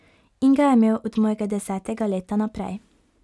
In ga je imel od mojega desetega leta naprej ...